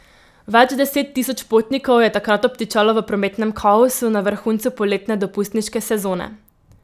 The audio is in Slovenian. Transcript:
Več deset tisoč potnikov je takrat obtičalo v prometnem kaosu na vrhuncu poletne dopustniške sezone.